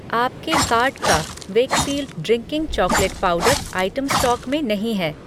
आपके कार्ट का Weikfield drinking chocolate powder item stock में नहीं है।